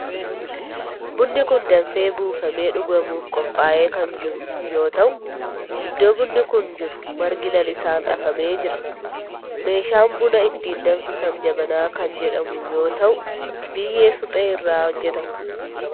Bunni kun danfee buufamee dhugamuf qophaa'ee kan jiru yoo ta'u iddoo bunni kun jiru margi lalisaan afamee jira. Meeshaan buna ittiin danfisan jabanaa kan jedhamu yoo ta'u biyyee suphee irraa hojjetama.